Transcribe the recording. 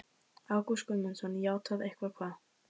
Ágúst Guðmundsson: Játað eitthvað hvað?